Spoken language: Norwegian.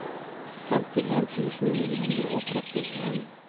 femtien tusen ni hundre og trettien